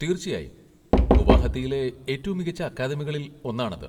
തീർച്ചയായും, ഗുവാഹത്തിയിലെ ഏറ്റവും മികച്ച അക്കാദമികളിൽ ഒന്നാണത്.